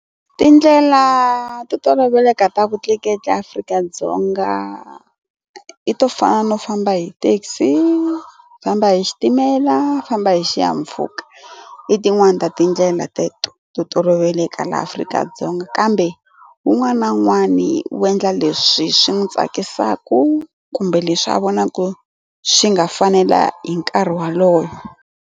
Tindlela to toloveleka ta vutleketli eAfrika-Dzonga i to fana no famba hi taxi famba hi xitimela famba hi xihahampfhuka i tin'wani ta tindlela teto to toloveleka laha Afrika-Dzonga kambe wun'wani na wun'wani wu endla leswi swi n'wi tsakisaka kumbe leswi a vonaku swi nga fanela hi nkarhi walowo.